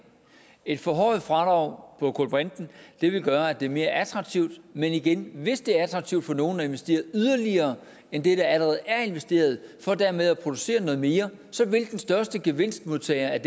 et forhøjet fradrag på kulbrinten vil gøre at det er mere attraktivt men igen hvis det er attraktivt for nogle at investere yderligere end det der allerede er investeret for dermed at producere noget mere så vil den største gevinstmodtager i